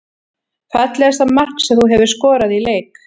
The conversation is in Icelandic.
Fallegasta mark sem þú hefur skorað í leik?